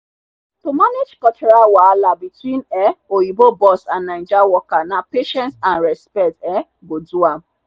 to manage cultural wahala between um oyinbo boss and naija worker na patience and respect um go do am.